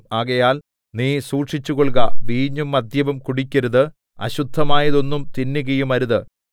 ആകയാൽ നീ സൂക്ഷിച്ചുകൊൾക വീഞ്ഞും മദ്യവും കുടിക്കരുത് അശുദ്ധമായതൊന്നും തിന്നുകയുമരുത്